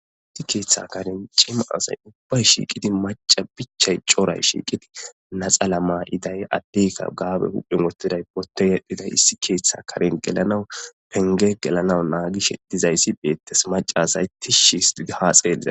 issi keeththa karen cima asay ubbay shiiqidi maca bichay coray shiiqidi naxa la ma iday addeykka gaabe huphemotiday pote yadhiday issi keeththe karen gelanawu penge gelanawu naagi shedizayssi beettes macasay tishshi his tidi haa xeelliza